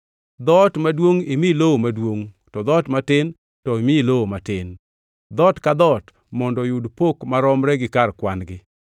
Dhoot maduongʼ imi lowo maduongʼ to dhoot matin to imi lowo matin; dhoot ka dhoot mondo oyud pok maromre gi kar kwan-gi.